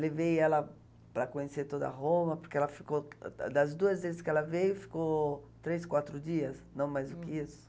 Levei ela para conhecer toda a Roma, porque ela ficou, das duas vezes que ela veio, ficou três, quatro dias, não mais do que isso.